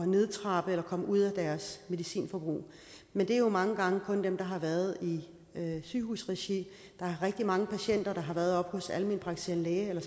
nedtrappe eller komme ud af deres medicinforbrug men det er jo mange gange kun dem der har været i sygehusregi der er rigtig mange patienter der har været oppe hos deres almenpraktiserende læge eller